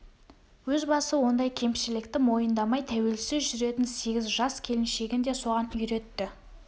өз басы ондай кемші-лікті мойындамай тәуелсіз жүретін сегіз жас келіншегін де соған үйретті